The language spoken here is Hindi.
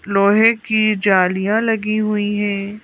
लोहे की जालियां लगी हुई है।